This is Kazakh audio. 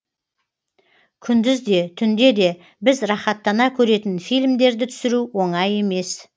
күндіз де түнде де біз рахаттана көретін фильмдерді түсіру оңай емес